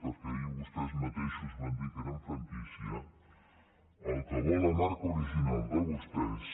perquè ahir vostès mateixos van dir que eren franquícia el que vol la marca original de vostès